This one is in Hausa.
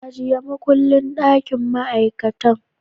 Ajiye makullin dakin ma'aikatai